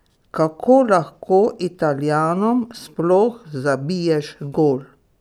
Kako lahko Italijanom sploh zabiješ gol?